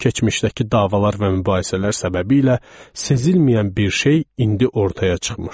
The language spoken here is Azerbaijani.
Keçmişdəki davalar və mübahisələr səbəbilə sezilməyən bir şey indi ortaya çıxmışdı.